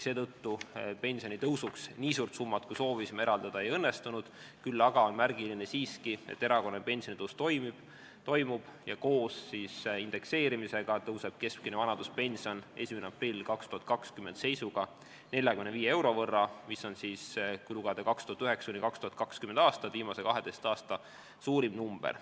Seetõttu pensionitõusuks nii suurt summat, kui soovisime, eraldada ei õnnestunud, küll aga on siiski märgiline, et erakorraline pensionitõus toimub ja koos indekseerimisega tõuseb keskmine vanaduspension 1. aprilli 2020. aasta seisuga 45 euro võrra, mis on viimase 12 aasta suurim number.